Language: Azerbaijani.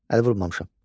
Əl vurmamışam.